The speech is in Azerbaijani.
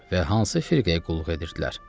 Və hansı firqəyə qulluq edirdilər?